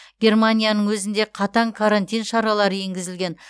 германияның өзінде қатаң карантин шаралары енгізілген